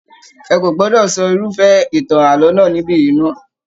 Ẹ kò gbọdọ sọ irufẹ ìtàn ààlọ́ náà nibiyi mọ!